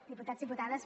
diputats i diputades